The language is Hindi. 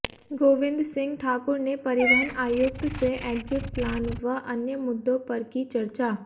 गोविंद सिंह ठाकुर ने परिवहन आयुक्त से एग्जिट प्लान व अन्य मुद्दों पर की चर्चा